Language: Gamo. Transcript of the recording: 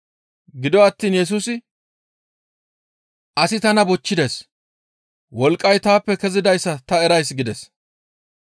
Gido attiin Yesusi, «Asi tana bochchides; wolqqay taappe kezidayssa ta erays» gides.